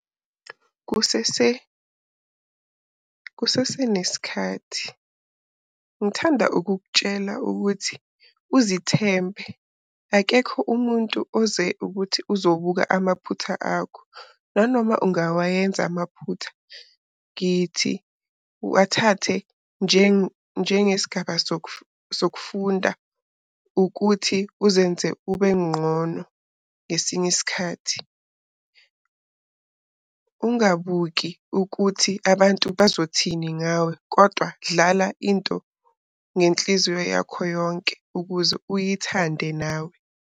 Kusesenesikhathi ngithanda ukukutshela ukuthi uzithembe akekho umuntu oze ukuthi uzobuka amaphutha akho nanoma ungawayenza amaphutha. Ngithi wathathe njenge sigaba sokufunda ukuthi uzenze ubenqono ngesinye isikhathi. Ungabuki ukuthi abantu bazothini ngawe kodwa dlala into ngenhliziyo yakho yonke, ukuze uyithande nawe.